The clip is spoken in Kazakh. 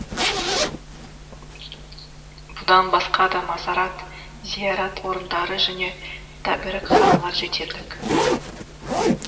бұдан басқа да мазарат зиярат орындары және тәбәрікханалар жетерлік